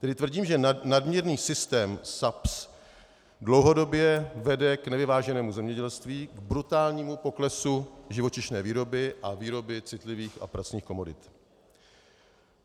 Tedy tvrdím, že nadměrný systém SAPS dlouhodobě vede k nevyváženému zemědělství, k brutálnímu poklesu živočišné výroby a výroby citlivých a pracných komodit.